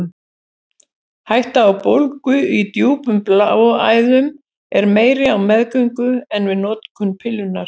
Hætta á bólgu í djúpum bláæðum er meiri á meðgöngu en við notkun pillunnar.